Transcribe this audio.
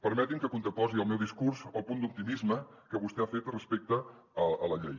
permetin me que contraposi el meu discurs al punt d’optimisme que vostè ha fet respecte a la llei